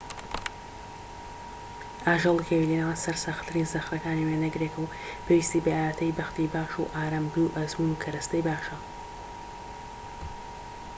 ئاژەڵی کێوی لە نێوان سەرسەختترین زەخرەکانی وێنەگرێکە و پێویستی بە ئاوێتەی بەختی باش و ئارامگری و ئەزموون و کەرەستەی باشە